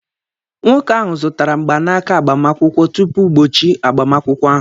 Nwoke ahụ zụtara mgbanaka agbamakwụkwọ tupu ugbochi agbamakwụkwọ ahụ.